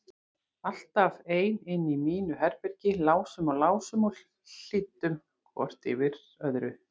Alltaf ein inni í mínu herbergi, lásum og lásum og hlýddum hvort öðru yfir.